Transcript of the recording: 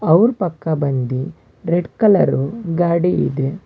Hour ಪಕ್ಕ ಬಂದಿ red colour ಗಾಡಿ ಇದೆ.